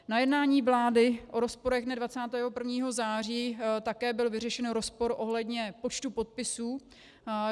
Na jednání vlády o rozporech dne 21. září také byl vyřešen rozpor ohledně počtu podpisů.